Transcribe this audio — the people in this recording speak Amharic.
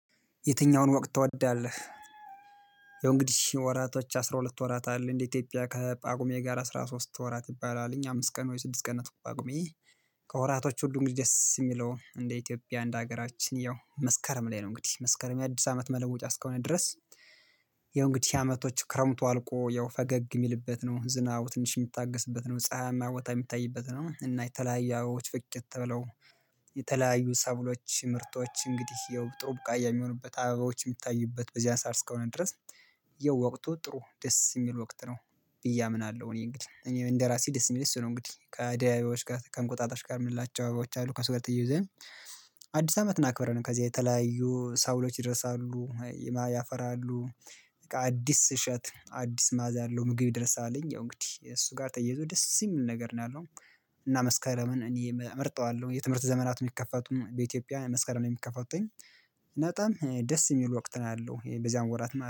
የትኛውን ወቅት ትወዳለህ? ያው እንግዲህ ወራቶች አስራ ሁለት ወራት አለ እንደ ኢትዮጵያ ከጳጉሜ ጋር አስራ ሶስት ወራት ይባላል እኛ አምስት ቀን ወይ ስድስት ቀን ናተ ጳጉሜ። ከወራቶቹ ሁሉ እንግዲሂ ደስ የሚለው እንደ ኢትዮጵያ እንደ ሀገራችን ያው መስከረም ላይ ነው እንግዲህ መስከረም የአዲስ አመት መለወጫ እስከሆነ ድረስ። ያው እንግዲህ አመቶች ክረምቱ አልቆ ያው ፈገግ የሚልበት ነው ዝናቡ ትንሽ የሚታገስበት ነው ፀሀያማ የሚታይበት ነው እና የተለያየ አበቦች ፍክት ብለው። የተለያዩ ሰብሎች ምርቶች እንግዲህ የው ጥሩ ቡቃያ የሚሆኑበት አበባዎች የሚታዩበት በዚህ ሳርስ እስከሆነ ድረስ። የወቅቱ ጥሩ ደስ የሚል ወቅት ነው ብዬ አምናለሁ እኔ እንግዲህ እኔ እንደራሴ ደስ የሚልኝ እሱ ነው። እንግዲህ ከአደይ አበባዎች ጋር ከእንቁጣጣሽ ጋር የምላቸው አበባዎች አሉ ከሱ ጋር ተያይዘን። አዲስ አመትን እክብረን ከዚህ የተለያዩ ሰብሎች ይደርሳሉ ያፈራሉ። አዲስ እሸት አዲስ ማዕዛ አለው ምግብ ይደርሳልኝ ያው እንግዲህ እሱ ጋር ተያይዞ ደስ የሚል ነገር ነው ያለው። እና መስከረምን እኔ እመርጠዋለሁ የትምህርት ዘመናትን የሚከፈቱም በኢትዮጵያ መስከረም ነው የሚከፈቱትኝ በጣም ደስ የሚሉ ወቅት ነው ያለው በዚያን ወራት ማለት ነው